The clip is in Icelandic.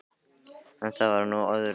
En það var nú öðru nær.